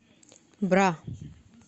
бра